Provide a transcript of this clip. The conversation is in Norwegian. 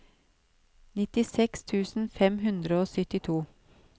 nittiseks tusen fem hundre og syttito